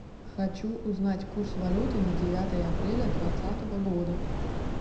хочу узнать курс валюты на девятое апреля двадцатого года